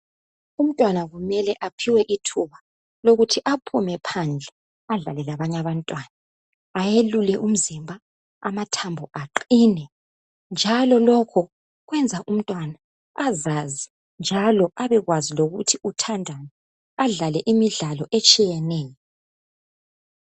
Umntwana kumele aphiwe ithuba lokuthi aphume phandle adlale labanye abantwana ayelule umzimba amathambo aqine njalo lokhu kwenza umntwana asazi njalo abekwazi lokuthi uthandani adlale imidlalo etshiyeneyo.